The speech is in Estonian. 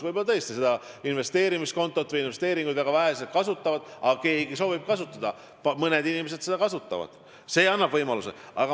Võib-olla tõesti investeerimiskontot või investeeringuid kasutavad väga vähesed, aga kui keegi soovib kasutada – mõned inimesed seda soovivad –, siis see annab võimaluse.